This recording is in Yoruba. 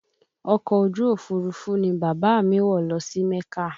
Ọkọ̀ ojú Òfurufú ni bàbá a mi wọ̀ lọ sí mẹ́kà